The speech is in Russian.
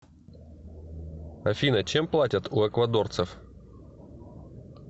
афина чем платят у эквадорцев